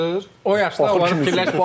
O yaşda fikirləş.